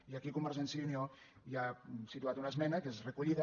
i aquí convergència i unió hi ha situat una esmena que és recollida